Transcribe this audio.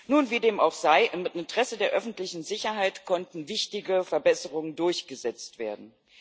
Nun, wie dem auch sei, im Interesse der öffentlichen Sicherheit konnten wichtige Verbesserungen durchgesetzt werden.